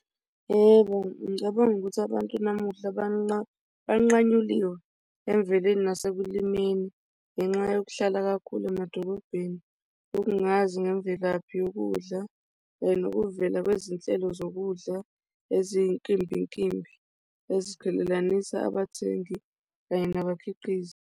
Yebo, ngicabanga ukuthi abantu namuhla banqanyuliwe emveleni nasekulimeni ngenxa yokuhlala kakhulu emadolobheni ukungazi ngemvelaphi yokudla kanye nokuvela kwezinhlelo zokudla eziyinkimbinkimbi eziqhelelelanisa abathengi kanye nabakhiqizi.